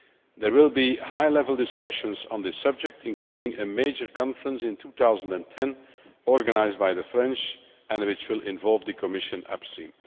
There will be high level discussions on this subject, including a major conference in 2010 organised by the French, which will involve the Commission upstream.